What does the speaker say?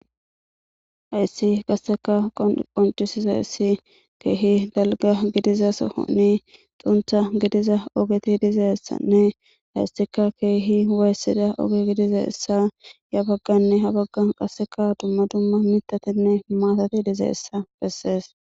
Haysi qaseka qoncisizaysi keehi dalga gidiza sohoni xuntha gidiza ogeti de'izaysanne haysika kehi wayisizaysa yabagan qase habagan duma duma mithatinne maatati dizaysa beses